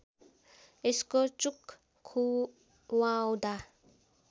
यसको चुक खुवाउँदा